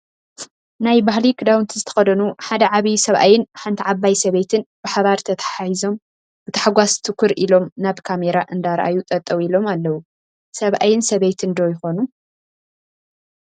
ናይ ባህሊ ክዳውንቲ ዝተኸደኑ ሓደ ዓብይ ሰብኣይን ሓንቲ ዓባይ ሰበይትን ብሓባር ተታሓሒዞም ብታሕጓስ ትኩር ኢሎም ናብ ካሜራ እንዳራኣዩ ጠጠው ኢሎም ኣለው፡፡ ሰብኣይን ሰበይትን ዶ ይኾኑ?